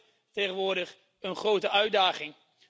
En daar ligt tegenwoordig een grote uitdaging.